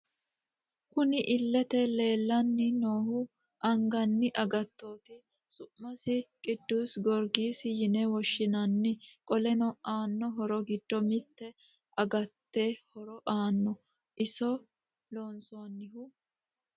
Kunni illete leelani noohu agani agattoti su'mise qidusi goorigisi yine woshinanni qoleno aano horro giddo mitte agate horro aano iso loonsonihu...